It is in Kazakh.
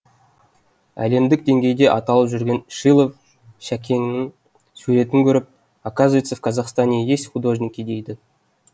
әлемдік деңгейде аталып жүрген шилов шәкеңнің суретін көріп оказывается в казахстане есть художники дейді